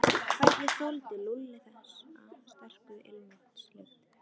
Hvernig þoldi Lúlli þessa sterku ilmvatnslykt.